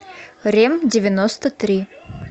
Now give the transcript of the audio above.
рем девяносто три